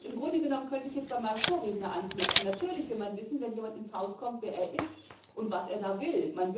Im Grunde genommen könnte ich jetzt bei meinem Vorredner anknüpfen. Natürlich will man wissen, wenn jemand ins Haus kommt, wer er ist und was er da will.